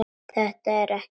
Þetta er ekki satt!